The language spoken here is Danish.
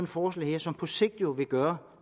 forslag som på sigt vil gøre